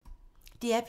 DR P2